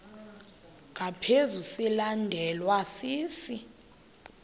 ngaphezu silandelwa sisi